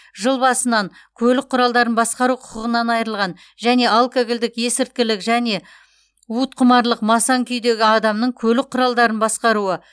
жыл басынан көлік құралдарын басқару құқығынан айырылған және алкогольдік есірткілік және уытқұмарлық масаң күйдегі адамның көлік құралын басқаруы